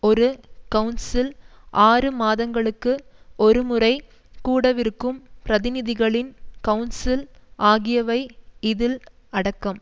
ஒரு கவுன்சில் ஆறு மாதங்களுக்கு ஒருமுறை கூடவிருக்கும் பிரதிநிதிகளின் கவுன்சில் ஆகியவை இதில் அடக்கம்